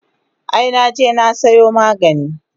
Ai naje na sayo magani